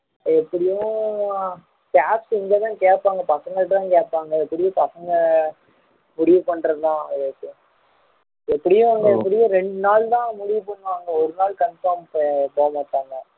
எப்படியும் staff இங்க தான் கேப்பாங்க பசங்க கிட்ட தான் கேப்பாங்க எப்படியும் பசங்க முடிவு பண்றது தான் விவேக் எப்படியும் ரெண்டு நாள் தான் முடிவு பண்ணுவாங்க ஒரு நாள் conform போக மாட்டாங்க